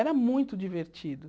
Era muito divertido.